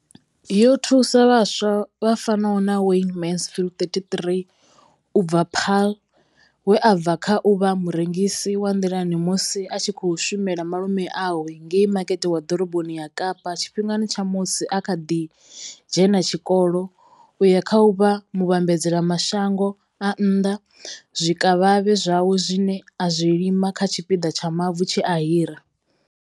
Yo thusa vhaswa vha fanaho na Wayne Mansfield, 33 u bva Paarl, we a bva kha u vha murengisi wa nḓilani musi a tshi khou shumela malume awe ngei Makete wa Ḓoroboni ya Kapa tshifhingani tsha musi a kha ḓi dzhena tshikolo u ya kha u vha muvhambadzela mashango a nnḓa zwikavhavhe zwawe zwine a zwi lima kha tshipiḓa tsha mavu tshe a hira.